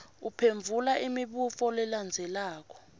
uphendvula imibuto lelandzelako